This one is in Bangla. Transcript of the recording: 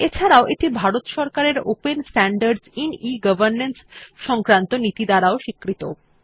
এছাড়াও এটি ভারত সরকারের open standards IN e governance সংক্রান্ত নীতি দ্বারা স্বীকৃত